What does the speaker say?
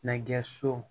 Nɛgɛso